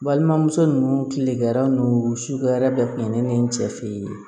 Balimamuso ninnu tilekɛrɛ ninnu suguya bɛɛ tun ye ne ni n cɛ fe ye